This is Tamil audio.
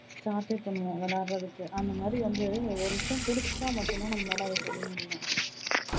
practice பண்ணுவோம் விளையாடுறதுக்கு அந்த மாதிரி வந்து ஒரு விஷயம் பிடிச்சா மட்டும் தான் நம்மலால அத செய்ய முடியும்.